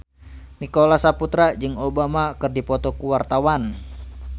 Nicholas Saputra jeung Obama keur dipoto ku wartawan